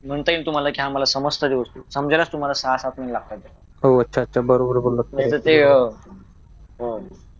म्हणता येईल तुम्हाला की मला समजतंय गोष्टी समजायला तुम्हाला सहा सात महिने लागतात नाहीतर ते अह